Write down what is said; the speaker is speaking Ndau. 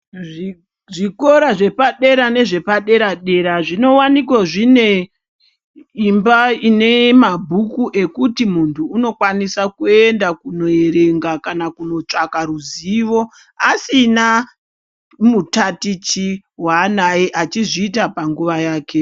Zvikora zvepadera nezvepadera dera zvinowanikwa zvine imba zvine mabhuku ekuti muntu anokwanisa kuenda kuerenga kana kutsvaka ruzivo asina mutatichi wanaye achiita panguwa yake.